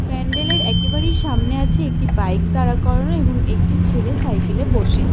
প্যান্ডেল -এর একেবারেই সামনে আছে একটি বাইক দাঁড়া করানো এবং একটি ছেলে সাইকেল -এ বসে।